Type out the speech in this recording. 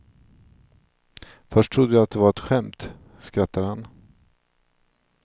Först trodde jag att det var ett skämt, skrattar han.